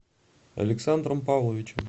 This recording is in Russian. александром павловичем